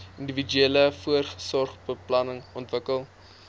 individuele versorgingsplan ontwikkel